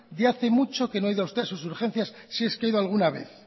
que hace mucho que no ha ido usted a sus urgencias si es que ha ido alguna vez